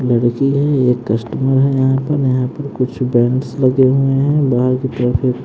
लड़की है ये कस्टमर है यहां पर यहां पर कुछ बैनर्स लगे हुए हैं बाहर की तरफ एक--